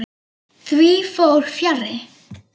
Því fór fjarri.